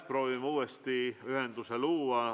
Proovime uuesti ühenduse luua.